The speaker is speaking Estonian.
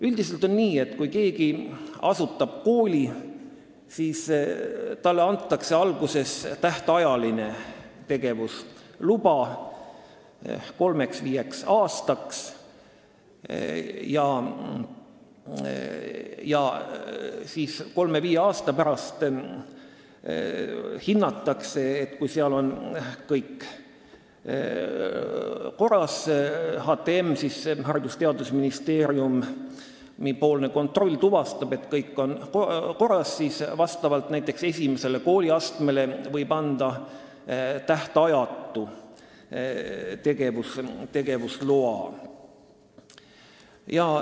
Üldiselt on nii, et kui keegi asutab kooli, siis talle antakse alguses tähtajaline tegevusluba kolmeks kuni viieks aastaks ja kolme kuni viie aasta pärast, kui Haridus- ja Teadusministeeriumi kontroll on tuvastanud, et kõik on korras, siis võib näiteks esimesele kooliastmele anda tähtajatu tegevusloa.